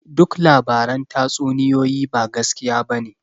Duk labaran tatsuniyoyi ba gaskiya bane